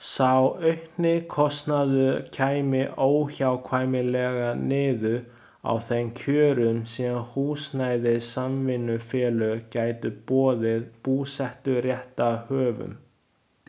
Sá aukni kostnaður kæmi óhjákvæmilega niður á þeim kjörum sem húsnæðissamvinnufélög gætu boðið búseturéttarhöfum.